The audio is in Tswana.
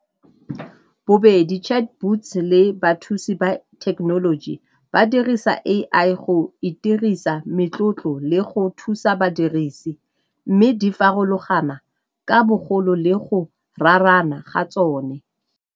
Bobedi chat boots le bathusi ba thekenoloji ba dirisa A_I go itirisa metlotlo le go thusa badirisi mme di farologana ka bogolo le go raarana ga tsone.